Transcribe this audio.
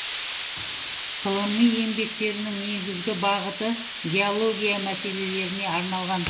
ғылыми еңбектерінің негізгі бағыты геология мәселелеріне арналған